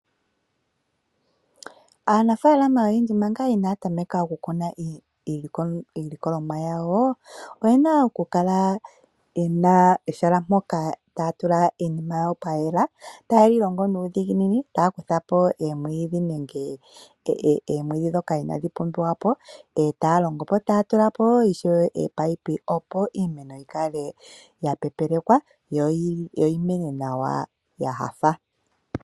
Aanafaalama oyendji manga inaya tameka okukuna iilikolomwa yawo, oye na okukala ye na ehala mpoka taya tula iinima yawo pwa yela taye yi longo nuudhigini taya kutha po oomwiidhi ndhoka inaadhi pumbiwa po, ndele taya longo po. Taya tula po wo ishew ominino, opo iimeno yi kale ya pepelelwa yo yi mene nawa ya nyanyukwa.